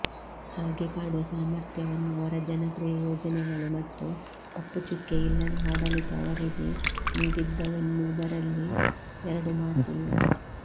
ಹಾಗೆ ಕಾಡುವ ಸಾಮರ್ಥ್ಯವನ್ನು ಅವರ ಜನಪ್ರಿಯ ಯೋಜನೆಗಳು ಮತ್ತು ಕಪ್ಪುಚುಕ್ಕೆಯಿಲ್ಲದ ಆಡಳಿತ ಅವರಿಗೆ ನೀಡಿದ್ದವೆನ್ನುವುದರಲ್ಲಿ ಎರಡು ಮಾತಿಲ್ಲ